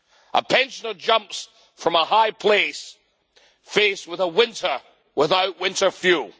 A pensioner jumps from a high place, faced with a winter without winter fuel.